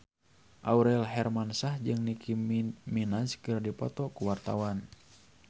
Aurel Hermansyah jeung Nicky Minaj keur dipoto ku wartawan